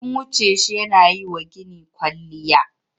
Sun wuce shi yana yi wa gini kwalliya.